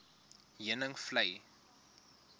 heuningvlei